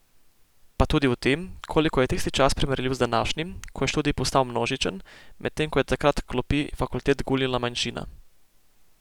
Pa tudi o tem, koliko je tisti čas primerljiv z današnjim, ko je študij postal množičen, medtem ko je takrat klopi fakultet gulila manjšina.